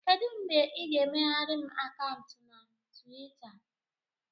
Kedụ mgbe ị ga-emeghere m akaụntụ na Tuweeta?